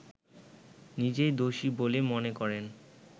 নিজেই দোষী বলে মনে করেন